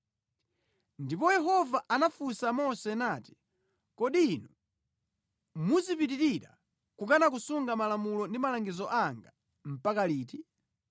Ndipo Yehova anafunsa Mose nati, “Kodi inu muzipitirira kukana kusunga malamulo ndi malangizo anga mpaka liti?